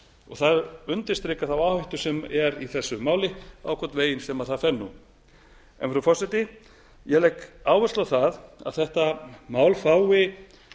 og það undirstrikar þá áhættu sem er í þessu máli á hvorn veginn sem það fer frú forseti ég legg áherslu á það að þetta mál fái